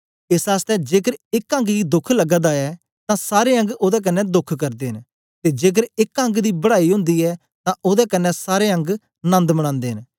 एस आसतै जेकर एक अंग गी दोख लगा दा ऐ तां सारे अंग ओदे कन्ने दोख करदे न ते जेकर एक अंग दी बड़ाई ओंदी ऐ तां ओदे कन्ने सारे अंग नंद मनांदे न